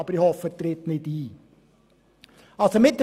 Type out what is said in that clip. Ich hoffe jedoch, dieser Fall treffe nicht ein.